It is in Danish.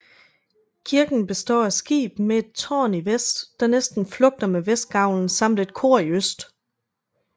Kirken består af skib med et tårn i vest der næsten flugter med vestgavlen samt et kor i øst